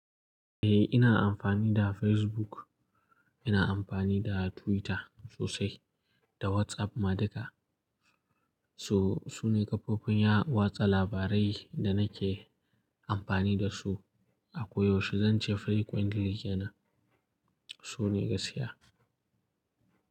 Eh! Ina amfani da Facebook, ina amfani da Twitter sosai da WhatsApp ma duka. So! Sune ƙafofin watsa labarai da nake amfani da su ako yaushe. Zan ce frequently yana, su ne gaskiya.